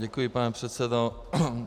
Děkuji, pane předsedo.